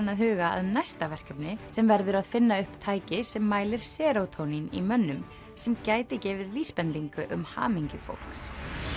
að huga að næsta verkefni sem verður að finna upp tæki sem mælir serótónín í mönnum sem gæti gefið vísbendingu um hamingju fólks